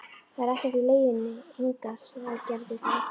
Það er ekkert í leiðinni hingað, sagði Gerður þá.